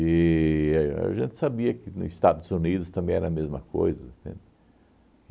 E a a gente sabia que no Estados Unidos também era a mesma coisa, entende?